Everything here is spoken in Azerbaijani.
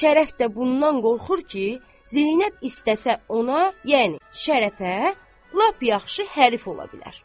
Şərəf də bundan qorxur ki, Zeynəb istəsə ona, yəni Şərəfə, lap yaxşı hərif ola bilər.